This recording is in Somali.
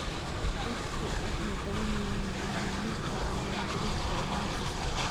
Dadku waxay baranayaan muhiimadda diiwaangelinta ilmaha.